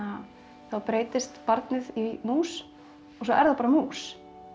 þá breytist barnið í mús og svo er það bara mús